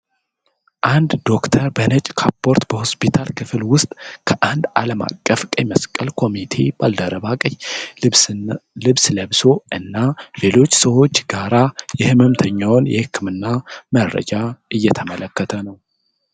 አንድ ዶክተር በነጭ ካፖርት በሆስፒታል ክፍል ውስጥ ከአንድ ዓለም አቀፍ ቀይ መስቀል ኮሚቴ ባልደረባ ቀይ ልብስ ለብሶ እና ሌሎች ሰዎች ጋር የሕመምተኛውን የሕክምና መረጃ እየተመለከተ ነው።